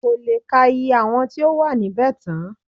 Kò lè ka iye àwọn tí ó wà níbẹ̀ tán